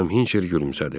Xanım Hinçer gülümsədi.